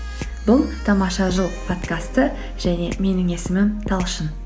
бұл тамаша жыл подкасты және менің есімім талшын